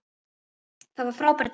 Það var frábær dagur.